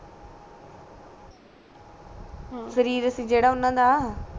ਅਮ ਸ਼ਰੀਰ ਸੀ ਜੇੜਾ ਉਨ੍ਹਾਂ ਦਾ